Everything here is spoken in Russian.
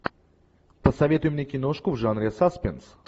посоветуй мне киношку в жанре саспенс